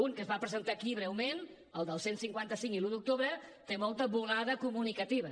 un que es va presentar aquí breument el del cent i cinquanta cinc i l’un d’octubre té molta volada comunicativa